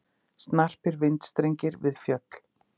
Snarpir vindstrengir við fjöll